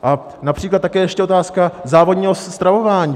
A například je také ještě otázka závodního stravování.